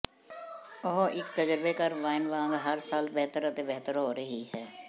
ਉਹ ਇੱਕ ਤਜਰਬੇਕਾਰ ਵਾਈਨ ਵਾਂਗ ਹਰ ਸਾਲ ਬਿਹਤਰ ਅਤੇ ਬਿਹਤਰ ਹੋ ਰਹੀ ਹੈ